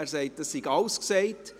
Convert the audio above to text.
Er sagt, es sei alles gesagt.